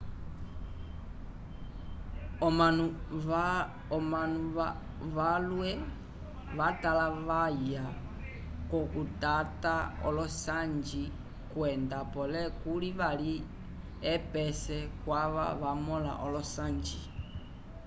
omanu valwe vatalavaya k'okutata olosanji kwenda pole kuli vali epese kwava vamõla olosanji